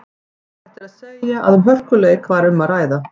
Óhætt er að segja að um hörkuleik var um að ræða.